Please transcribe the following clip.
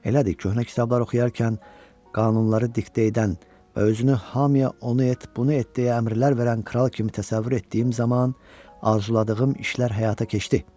Elədir, köhnə kitablar oxuyarkən qanunları diktə edən və özünü hamıya onu et, bunu et deyə əmrlər verən kral kimi təsəvvür etdiyim zaman arzuladığım işlər həyata keçdi.